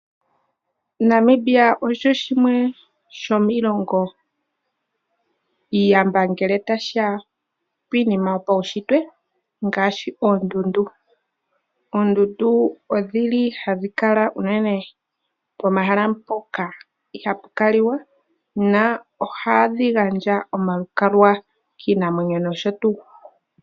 Namibia osho shimwe shomiilongo iiyamba ngele tashiya piinima yopaushitwe ngaashi oondundu. Oondundu odhili hadhi kala unene pomahala mpoka ihapu kaliwa na ohadhi gandja omalukalwa kiinamwenyo nosho tuu.